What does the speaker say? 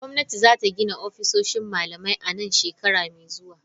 Gwamnati za ta gina ofisoshin malamai a nan shekara mai zuwa.